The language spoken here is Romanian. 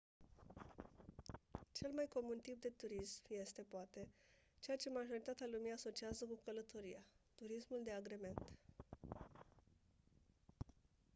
cel mai comun tip de turism este poate ceea ce majoritatea lumii asociază cu călătoria turismul de agrement